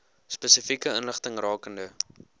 spesifieke inligting rakende